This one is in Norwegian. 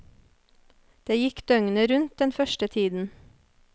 Det gikk døgnet rundt den første tiden.